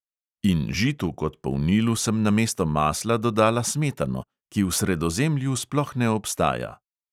In žitu kot polnilu sem namesto masla dodala smetano, ki v sredozemlju sploh ne obstaja.